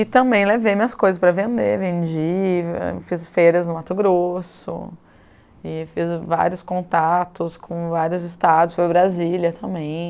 E também levei minhas coisas para vender, vendi, fiz feiras no Mato Grosso, e fiz vários contatos com vários estados, foi Brasília também.